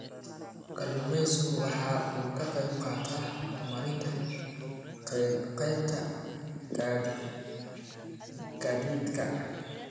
Kalluumaysigu waxa uu ka qayb qaataa horumarinta qaybta gaadiidka.